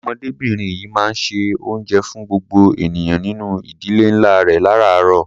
Ọmọdébìnrin yìí máa ń se oúnjẹ fún gbogbo ènìyàn nínú ìdílé ńlá rẹ̀ láráàárọ̀.